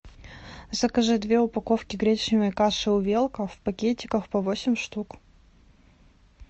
закажи две упаковки гречневой каши увелка в пакетиках по восемь штук